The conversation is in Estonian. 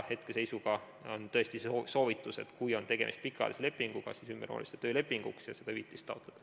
Hetkeseisuga on tõesti see soovitus, et kui on tegemist pikaajalise lepinguga, siis see ümber vormistada töölepinguks ja seda hüvitist taotleda.